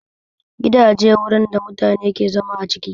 Gidaje wurine da mutane ke zama a ciki